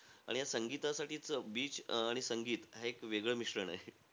आणि या संगीतासाठीचं, beach आणि संगीत हे एक वेगळं मिश्रण आहे.